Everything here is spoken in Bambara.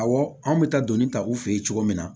Awɔ an bɛ taa dɔni ta u fɛ yen cogo min na